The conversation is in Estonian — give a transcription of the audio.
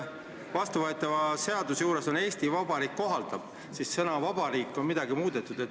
Vastuvõetavas seaduses on kirjas "Eesti Vabariik kohaldab" ja sõnaga "Vabariik" on midagi muudetud.